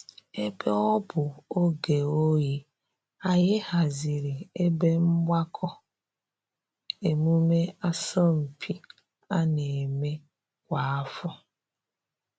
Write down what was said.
Ebe ọ bụ oge oyi, anyị haziri ebe mgbakọ emume asọmpi a na-eme kwa afọ